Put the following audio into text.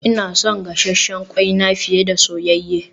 Ina son gasasshen kwai na fiye da soyayye